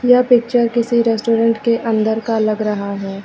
यह पिक्चर किसी रेस्टोरेंट के अंदर का लग रहा है।